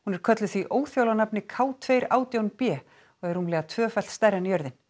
er kölluð því óþjála nafni k tveggja átján b og er rúmlega tvöfalt stærri en jörðin